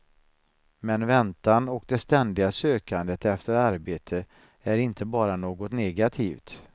Men väntan och det ständiga sökandet efter arbete är inte bara något negativt.